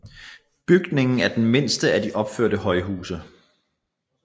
Bygningen er den mindste af de opførte højhuse